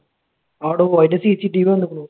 ആട, അതിന്റെ CCTV വന്നേക്കണു.